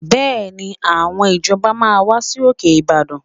Bẹ́ẹ̀ni, àwọn ìjọba máa wá sí òkè Ìbàdàn